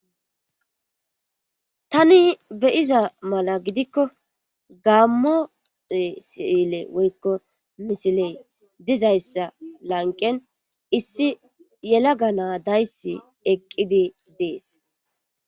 Tani beyiza mala gidikko gaammoe sile woykko misiley dizayssa lanqen issi yela ganaa dayssi eqqidi dees.